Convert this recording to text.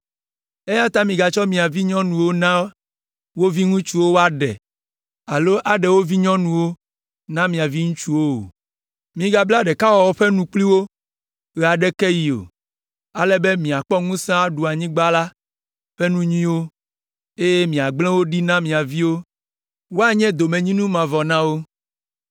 Eya ta migatsɔ mia vinyɔnuwo na wo viŋutsuwo woaɖe alo aɖe wo vinyɔnuwo na mia viŋutsuwo o. Migabla ɖekawɔwɔ ƒe nu kpli wo ɣe aɖeke ɣi o, ale be miakpɔ ŋusẽ aɖu anyigba la ƒe nu nyuiwo, eye miagblẽ wo ɖi na mia viwo, woanye domenyinu mavɔ na wo.’